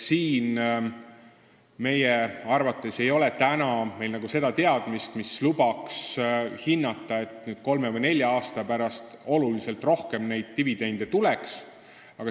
Meie arvates ei ole meil seda teadmist, mis lubaks hinnata, et kolme või nelja aasta pärast tuleb neid dividende oluliselt rohkem.